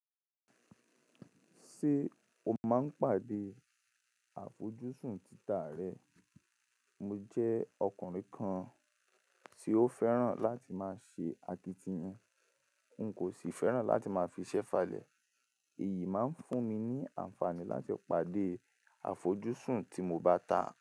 Ṣé o máa ń pàdé àfojúsùn títà rẹ? Mo jẹ́ ọkùnrin kan tí ó fẹ́ràn láti máa ṣe akitiyan, n kò sì fẹ́ràn láti máa fiṣẹ́ falẹ̀. Èyí máa ń fún mi ní àǹfààní láti pàdé àfojúsùn tí mo bá tà.